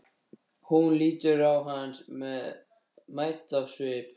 Hún lítur á hann mædd á svip.